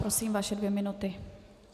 Prosím, vaše dvě minuty.